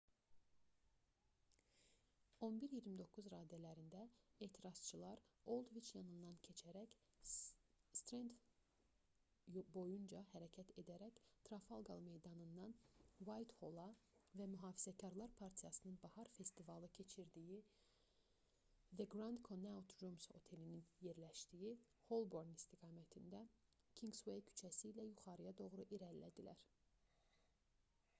11:29 radələrində etirazçılar oldviç yanından keçib strend boyunca hərəkət edərək tarafalqar meydanından uaythola və mühafizəkarlar partiyasının bahar festivalı keçirdiyi the grand connaught rooms otelinin yerləşdiyi holborn istiqamətində kinqsuey küçəsi ilə yuxarıya doğru irəlilədilər